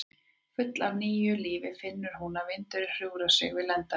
Full af nýju lífi finnur hún að vindurinn hjúfrar sig við lendar hennar.